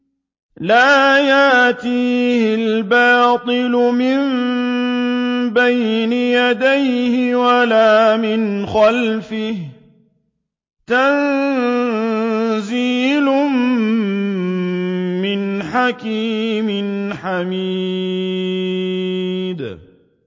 لَّا يَأْتِيهِ الْبَاطِلُ مِن بَيْنِ يَدَيْهِ وَلَا مِنْ خَلْفِهِ ۖ تَنزِيلٌ مِّنْ حَكِيمٍ حَمِيدٍ